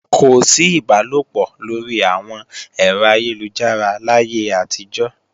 Kò sí ìbálòpọ̀ lórí àwọn ẹ̀rọ ayélujára láyé àtijọ́